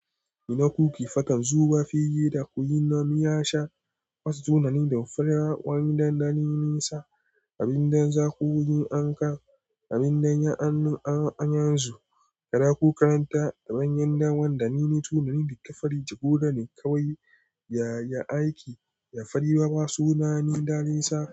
Ina kuki fakan zubafi yida kuyi namiyasha, wasu sunanin da faruwan dandali nesa, abin dan za ku wuyi anka, abin dan ya annun anyanzu, kada ku kalanta daban yan dawa, da nini sunanin da ka farijigo da ni kawai, ya aiki, ya faribaba sunani daran sa.